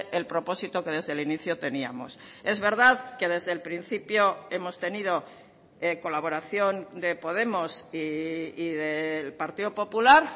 el propósito que desde el inicio teníamos es verdad que desde el principio hemos tenido colaboración de podemos y del partido popular